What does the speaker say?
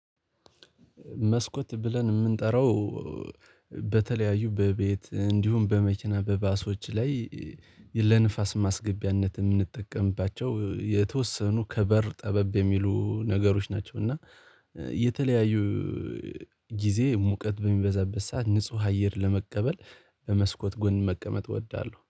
መስኮት ብለን የምንጠራው በተለያዩ በቤት እንዲሁም በመኪና በባሶች ላይ ለንፋስ ማስገቢያነት የምንጠቀምባቸው፤ የተወሰኑ ከበር ጠበብ የሚሉ ነገሮች ናቸው። እና የተለያዩ ጊዜ ሙቀት በሚበዛበት ሰዓት ንጹህ አየር ለመቀበል በመስኮት ጎን መቀመጥ እወዳለሁ።